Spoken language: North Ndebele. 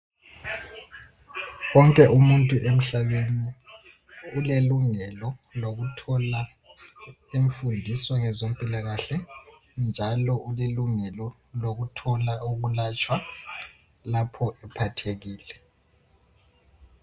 Wonke umuntu emhlabeni ulelungelo lokuthola imfundiso ngezempilakahle njalo ulelungelo lokuthola ukulatshwa lapho ephathekile.